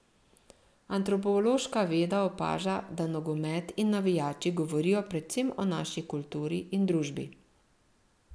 Antropološka veda opaža, da nogomet in navijači govorijo predvsem o naši kulturi in družbi.